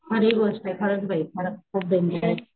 खरी गोष्टय खरंच बाई खरंच खूप डेंजर,